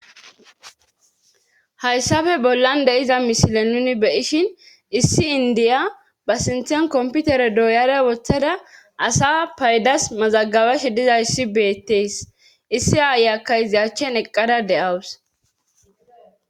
hayssafe bollan de7iza mishile nuni be7ishin issi indiya ba sinthen komputere dooyare woththada asa paydas mazagabashe dizayissi beettees issi aayakka izi achchen eqqada de7awus